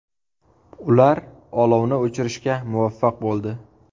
Ular olovni o‘chirishga muvaffaq bo‘ldi.